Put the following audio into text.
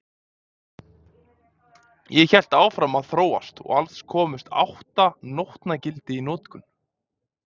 Það hélt áfram að þróast og alls komust átta nótnagildi í notkun.